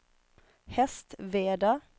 Hästveda